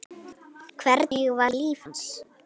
Hvernig var líf hans?